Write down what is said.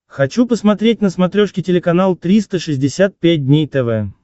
хочу посмотреть на смотрешке телеканал триста шестьдесят пять дней тв